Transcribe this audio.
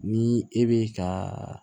Ni e bɛ ka